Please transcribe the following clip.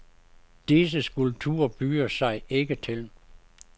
Disse skulpturer byder sig ikke til.